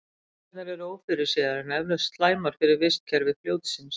Afleiðingarnar eru ófyrirséðar en eflaust slæmar fyrir vistkerfi fljótsins.